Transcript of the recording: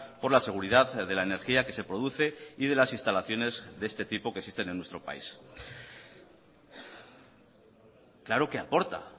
por la seguridad de la energía que se produce y de las instalaciones de este tipo que existen en nuestro país claro que aporta